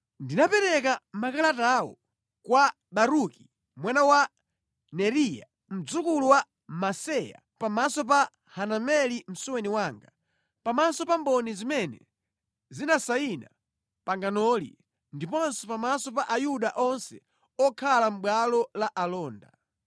Ndinapereka makalatawo kwa Baruki mwana wa Neriya, mdzukulu wa Maseya pamaso pa Hanameli msuweni wanga, pamaso pa mboni zimene zinasayina panganoli ndiponso pamaso pa Ayuda onse okhala mʼbwalo la alonda.